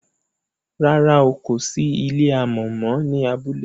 ràrá o kò sí ilé amò mọ ní abúlé